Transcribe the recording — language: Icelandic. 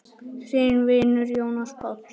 Þinn vinur, Jónas Páll.